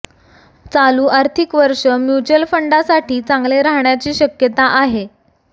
चालू आर्थिक वर्ष म्युच्युअल फंडांसाठी चांगले राहण्याची शक्यता आहे